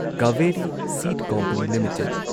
Kaveri Seed Company limited